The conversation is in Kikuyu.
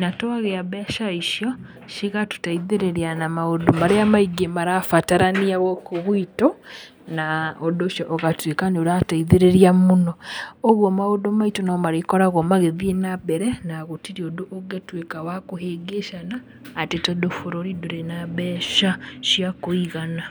na twagĩa mbeca icio cigatũteithĩrĩria na maũndũ marĩa maingĩ marabatarania gũkũ gwitũ. Na ũndũ ũcio ũgatuĩka nĩ ũrateithĩrĩria mũno. Ũguo maũndũ maitũ no marĩkoragwo magĩthiĩ na mbere, na gũtirĩ ũndũ ũngĩtuĩka wa kũhĩngĩcana atĩ tondũ bũrũri ndũrĩ na mbeca cia kũigana.